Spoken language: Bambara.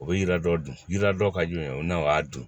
O bɛ jira dɔ dun yiri dɔ ka jugu yan o n'a o y'a dun